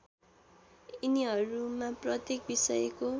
यिनीहरूमा प्रत्येक विषयको